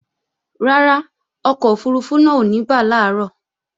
Rárá, ọkọ̀ òfurufú náà ò ní bà làárọ̀